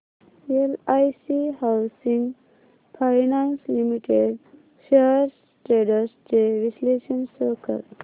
LIC housing finance limited shares trends चे विश्लेषण show कर